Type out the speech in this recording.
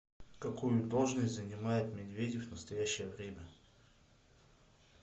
какую должность занимает медведев в настоящее время